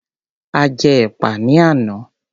A jẹ́ ẹ̀pà ní àná.